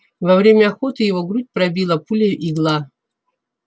во время охоты его грудь пробила пуля-игла